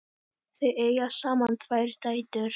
Þau eiga saman tvær dætur.